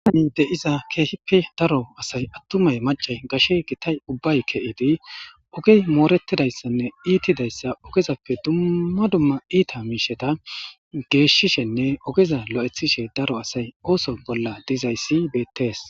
Aani de iza keehippe daro asay attumay macay gashe gitay ubbay ke7edi ogey moorettidayssanne iitidayssa ogezappe dumma dumma iita miisheta geeshshishenne ogeza lo7ethishe daro asay ooso bolla dizaysi beettees.